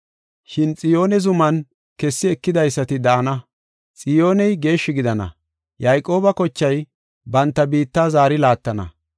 “Shin Xiyoone zuman kessi ekidaysati daana; Xiyooney geeshshi gidana; Yayqooba kochay banta biitta zaari laattana.